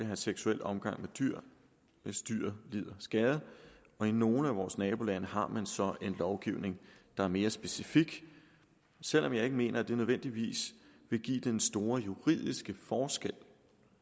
have seksuel omgang med dyr hvis dyret lider skade i nogle af vores nabolande har man så en lovgivning der er mere specifik selv om jeg ikke mener at det nødvendigvis vil give den store juridiske forskel